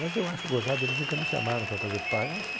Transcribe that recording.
Mas eu acho gozado, eles nunca me chamaram para fazer par, ach